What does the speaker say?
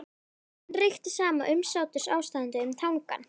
Og enn ríkti sama umsáturs- ástandið um Tangann.